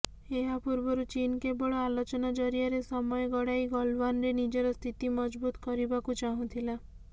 ଏହା ପୂର୍ବରୁ ଚୀନ କେବଳ ଆଲୋଚନା ଜରିଆରେ ସମୟ ଗଡାଇ ଗଲଓ୍ବାନରେ ନିଜର ସ୍ଥିତି ମଜବୁତ କରିବାକୁ ଚାହୁଁଥିଲା